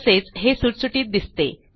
तसेच हे सुटसुटीत दिसते